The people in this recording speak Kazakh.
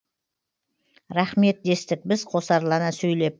рақмет дестік біз қосарлана сөйлеп